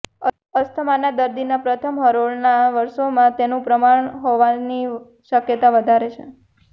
અસ્થમાના દર્દીના પ્રથમ હરોળના વરસોમાં તેનું પ્રમાણ હોવાની શક્યતા વધારે છે